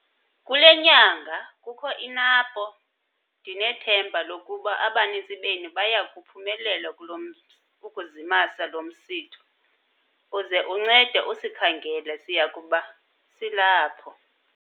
Kule nyanga kukho iNAMPO - Ndinethemba lokuba abaninzi benu baya kuphumelela ukuzimasa lo msitho. Uze uncede usikhangele - siya kuba silapho.